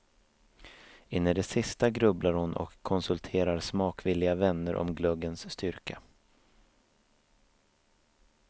In i det sista grubblar hon och konsulterar smakvilliga vänner om glöggens styrka.